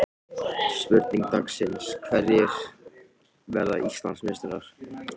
Spurning dagsins: Hverjir verða Íslandsmeistarar?